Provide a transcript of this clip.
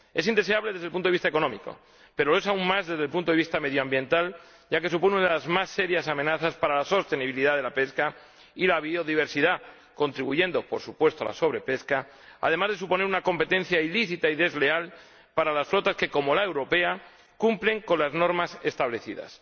Es indeseable desde el punto de vista económico, pero lo es aún más desde el punto de vista medioambiental, ya que supone una de las más serias amenazas para la sostenibilidad de la pesca y la biodiversidad, pues contribuye por supuesto a la sobrepesca además de suponer una competencia ilícita y desleal para las flotas que, como la europea, cumplen las normas establecidas.